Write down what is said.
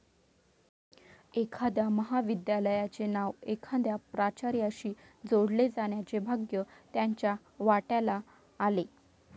एखाद्या महाविद्यालयाचे नाव एखाद्या प्राचार्याशी जोडले जाण्याचे भाग्य त्यांच्या वाट्याला आले.